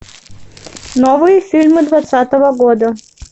новые фильмы двадцатого года